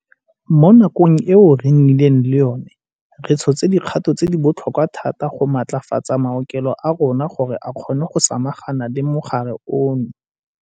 Mo nakong eo re nnileng le yona, re tshotse dikgato tse di botlhokwa thata go matlafatsa maokelo a rona gore a kgone go samagana le mogare ono.